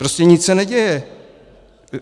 Prostě se nic neděje.